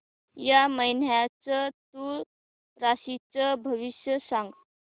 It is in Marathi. या महिन्याचं तूळ राशीचं भविष्य सांग